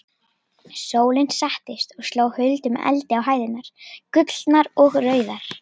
Sólin settist og sló huldum eldi á hæðirnar, gullnar og rauðar.